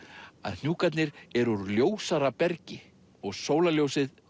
að hnjúkarnir eru úr ljósara bergi og sólarljósið